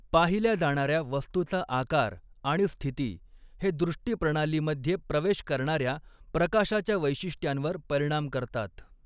पाहिल्या जाणार्या वस्तूचा आकार आणि स्थिती हे दृष्टिप्रणालीमध्ये प्रवेश करणार्या प्रकाशाच्या वैशिष्ट्यांवर परिणाम करतात.